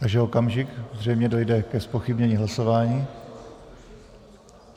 Ještě okamžik, zřejmě dojde ke zpochybnění hlasování...